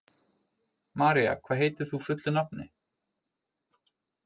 María, hvað heitir þú fullu nafni?